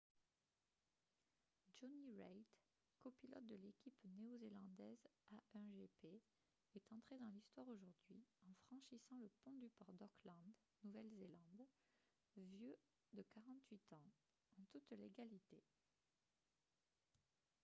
jonny reid copilote de l’équipe néo-zélandaise a1gp est entré dans l’histoire aujourd’hui en franchissant le pont du port d’auckland nouvelle-zélande vieux de 48 ans en toute légalité